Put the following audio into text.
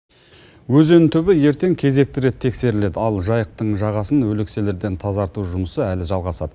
өзен түбі ертең кезекті рет тексеріледі ал жайықтың жағасын өлекселерден тазарту жұмысы әлі жалғасады